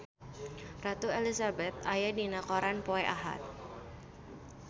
Ratu Elizabeth aya dina koran poe Ahad